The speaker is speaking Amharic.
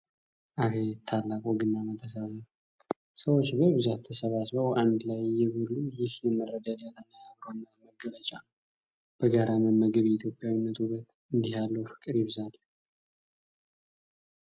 አቤት ታላቅ ወግና መተሳሰብ! ሰዎች በብዛት ተሰብስበው አንድ ላይ እየበሉ! ይህ የመረዳዳትና የአብሮነት መገለጫ ነው! በጋራ መመገብ የኢትዮጵያዊነት ውበት! እንዲህ ያለው ፍቅር ይብዛልን!